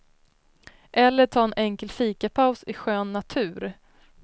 Eller ta en enkel fikapaus i skön natur.